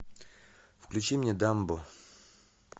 включи мне дамбо